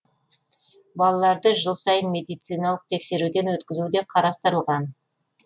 балаларды жыл сайын медициналық тексеруден өткізу де қарастырылған